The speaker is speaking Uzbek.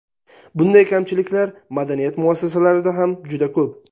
Bunday kamchiliklar madaniyat muassasalarida ham juda ko‘p.